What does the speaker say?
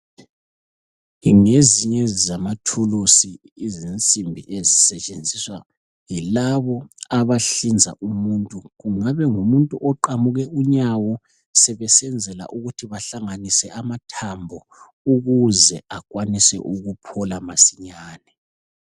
Ngezinye zamathulusi izinsimbi ezisetshenziswa yilabo abahlinza umuntu. Kungabe ngumuntu oqamuke unyawo sebesenzela ukuthi bahlanganise amathambo ukuze akwanise ukuphola masinyane.